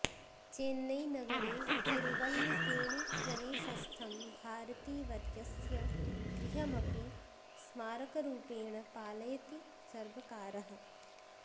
चेन्नै नगरे तिरुवल्लिकेणि प्रदेशस्थं भारतीवर्यस्य गृहम् अपि स्मारकरूपेण पालयति सर्वकारः